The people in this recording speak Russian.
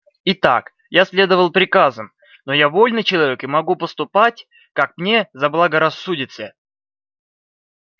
итак я следовал приказам но я вольный человек и могу поступать как мне заблагорассудится